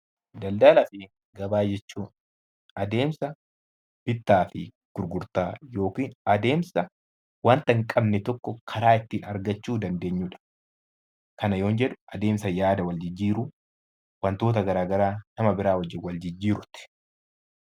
Daldalaa fi gabaa jechuun adeemsa bittaa fi gurgurtaa yookiin adeemsa waanta hin qabne tokko karaa itti argachuu dandeenyudha. Kana yoon jedhu, adeemsa yaada wal jijjiiruu, wantoota garaa garaa nama biraa wajjin wal jijjiiruuti.